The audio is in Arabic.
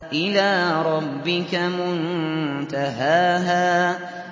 إِلَىٰ رَبِّكَ مُنتَهَاهَا